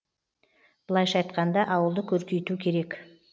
былайша айтқанда ауылды көркейту керек